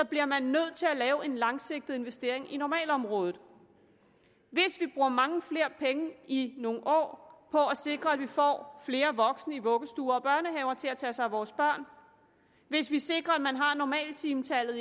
bliver man nødt til at lave en langsigtet investering i normalområdet hvis vi bruger mange flere penge i nogle år på at sikre at vi får flere voksne i vuggestuer og børnehaver til at tage sig af vores børn hvis vi sikrer at man har normaltimetallet